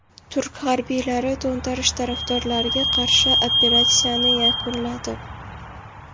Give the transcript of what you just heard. Turk harbiylari to‘ntarish tarafdorlariga qarshi operatsiyani yakunladi.